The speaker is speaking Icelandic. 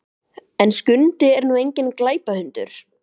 En Skundi er nú enginn glæpahundur.